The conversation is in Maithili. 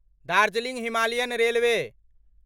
Darjeeling Himalayan railway